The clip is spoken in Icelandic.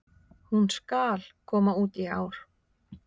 Hún SKAL koma út í ár!